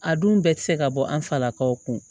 A dun bɛɛ ti se ka bɔ an falakaw kun